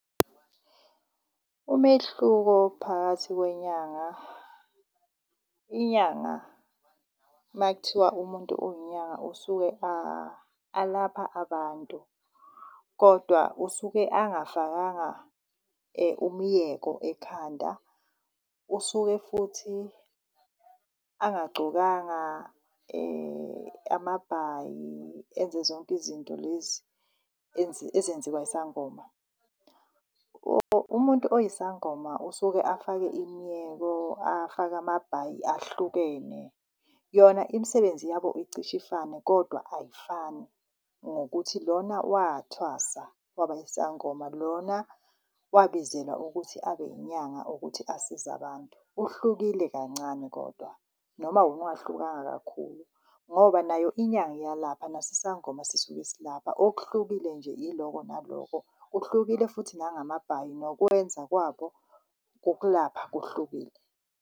Umehluko phakathi kwenyanga. Inyanga makuthiwa umuntu uyinyanga usuke alapha abantu, kodwa usuke angafakanga umyeko ekhanda. Usuke futhi ungagcokanga amabhayi enze zonke izinto lezi ezenziwa isangoma. Umuntu oyisangoma usuke afake imiyeko, afake amabhayi ahlukene. Yona imisebenzi yabo icishe ifane, kodwa ayifani ngokuthi lona wathwasa waba yisangoma, lona wabizelwa ukuthi abe inyanga ukuthi asize abantu. Kuhlukile kancane kodwa, noma wona ungahlukanga kakhulu ngoba nayo inyanga iyalapha naso isangoma sisuke silapha okuhlukile nje iloko naloko. Kuhlukile futhi nangamabhayi nokwenza kwabo kokulapha kuhlukile.